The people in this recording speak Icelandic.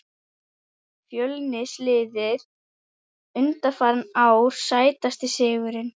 fjölnis liðið undanfarin ár Sætasti sigurinn?